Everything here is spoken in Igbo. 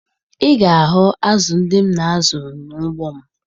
Ị ga-ahụ azụ ndị m na-azụ n'ugbo m